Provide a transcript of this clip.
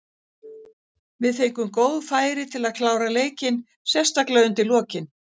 Við fengum góð færi til að klára leikinn, sérstaklega undir lokin.